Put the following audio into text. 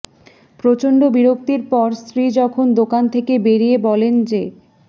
প্রচণ্ড বিরক্তির পর স্ত্রী যখন দোকান থেকে বেড়িয়ে বলেন যে